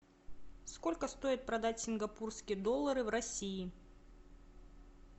сколько стоит продать сингапурские доллары в россии